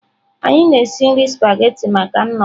Anyị na-esi nri spaghetị maka nnọkọ.